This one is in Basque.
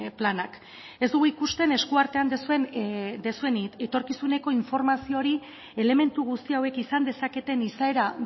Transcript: planak ez dugu ikusten eskuartean duzuen etorkizuneko informazio hori elementu guzti hauek izan dezaketen izaera